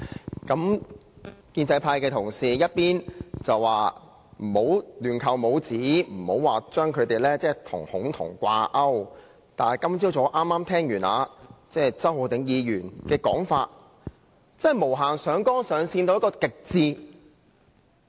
代理主席，建制派同事一邊說不要亂扣帽子，不要將他們與"恐同"掛鈎，但今早周浩鼎議員的發言卻無限上綱上線到極致。